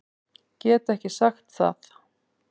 Get ekki sagt það.